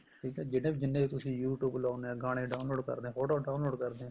ਜਿਹੜੇ ਜਿੰਨੇ ਵੀ ਤੁਸੀਂ youtube ਲਗਾਉਂਦੇ ਹੋ ਗਾਣੇ download ਕਰਦੇ ਹੋ ਫੋਟੋ download ਕਰਦੇ ਹੋ